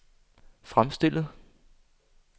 fremstillet